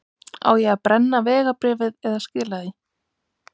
Á ég að brenna vegabréfið eða skila því?